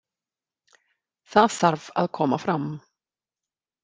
Það þarf að koma fram.